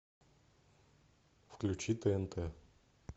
включи тнт